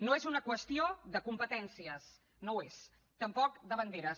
no és una qüestió de competències no ho és tampoc de banderes